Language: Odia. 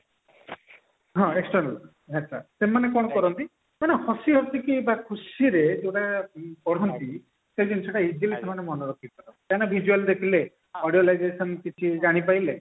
ହଁ external ଆଚ୍ଛା ସେମାନେ କଣ କରନ୍ତି ସେମାନେ ହସି ହସି କି ବା ଖୁସିରେ ପୁରା ପଢନ୍ତି ସେ ଜିନିଷଟା easily ସେମାନେ ମନେରଖନ୍ତି କାହିଁକି ନା visual ଦେଖିଲେ audio litigation ସେମାନେ କିଛି ଜାଣି ପାରିଲେ